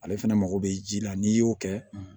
Ale fɛnɛ mago bɛ ji la n'i y'o kɛ